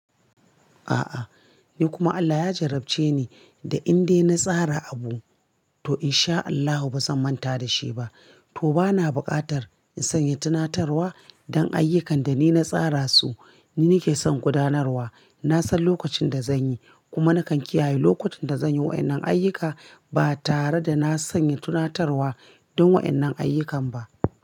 A'a, ni kuma Allah ya jarabce ni da inda na tsara abu, to in sha Allahu ba zan manta da shi ba. To ba na buƙatar in sanya tunatarwa don ayyukan da ni na tsara su, ni nake son gudanarwa. Na san lokacin da zan yi, kuma nakan kiyaye lokacin da zan yi waɗannan ayyuka ba tare da na sanya tunatarwa don waɗannan ayyukan ba.